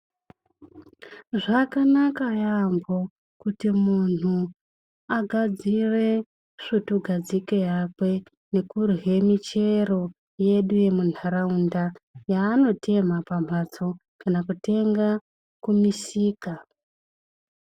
Zvakanaka yaembo kuti munhu agadzire svutugadzike yakwe nekurya michero yedu yemunharaunda, yaatotemha pamhatso kana kutenga kumisika.